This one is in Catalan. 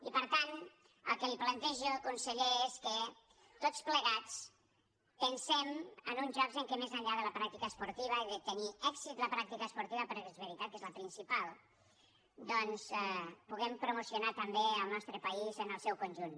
i per tant el que li plantejo conseller és que tots plegats pensem en uns jocs en què més enllà de la pràctica esportiva i de tenir èxit la pràctica esportiva perquè és veritat que és la principal doncs puguem promocionar també el nostre país en el seu conjunt